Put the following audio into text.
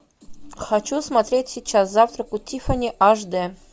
хочу смотреть сейчас завтрак у тиффани аш д